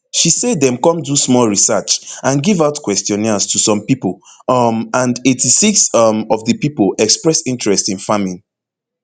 she say dem come do small research and give out questionnaires to some pipo um and eighty-six um of di pipo express interest in farming